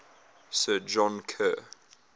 sir john kerr